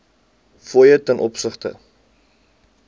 fooie ten opsigte